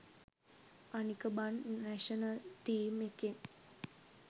අනික බන් national team එකෙන්